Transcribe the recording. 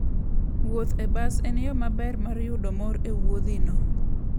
Wuoth e bas en yo maber mar yudo mor e wuodhino.